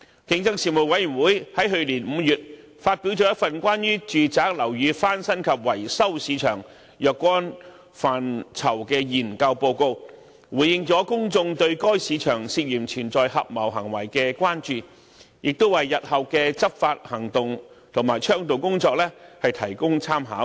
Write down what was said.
競爭事務委員會於去年5月發表了一份關於住宅樓宇翻新及維修市場若干範疇的研究報告，回應了公眾對該市場涉嫌存在合謀行為的關注，亦為日後的執法行動和倡導工作提供參考。